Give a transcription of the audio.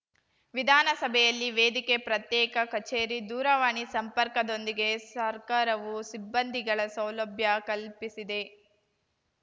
ವಿಧಾನಸಭೆಯಲ್ಲಿ ವೇದಿಕೆ ಪ್ರತ್ಯೇಕ ಕಚೇರಿ ದೂರವಾಣಿ ಸಂಪರ್ಕದೊಂದಿಗೆ ಸರ್ಕಾರವು ಸಿಬ್ಬಂದಿಗಳ ಸೌಲಭ್ಯ ಕಲ್ಪಿಸಿದೆ